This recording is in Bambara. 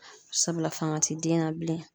Sabula fanga ti den na bilen.